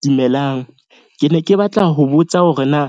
Dumelang, ke ne ke batla ho botsa hore na